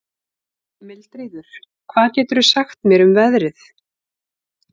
Mildríður, hvað geturðu sagt mér um veðrið?